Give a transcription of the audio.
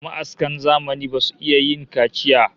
Ma'askan zamani basu iya yin kaciya